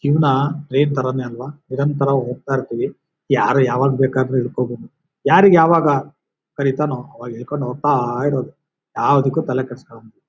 ಜೀವನ ಅದೇ ತರಾನೇ ಅಲ್ವಾ? ನಿರಂತರ ಹೋಗ್ತಾ ಇರ್ತಿವಿ ಯಾರು ಯಾವಗ್ ಬೇಕಾದ್ರು ಹಿಡ್ಕೋ ಬಹುದು ಯಾರಿಗ್ ಯಾವಾಗ ಕರಿತಾನೋ ಆವಾಗ ಇಳ್ಕೊಂಡ್ ಹೋಗ್ತಾ ಇರೋದು ಯಾವದಕ್ಕೂ ತಲೆ ಕೆಡಿಸ್ಕೊಲಂಗ್.